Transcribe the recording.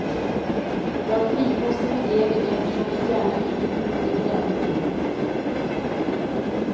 Var frikostig med degen eftersom den gärna krymper under gräddningen.